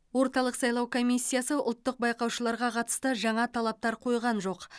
орталық сайлау комиссиясы ұлттық байқаушыларға қатысты жаңа талаптар қойған жоқ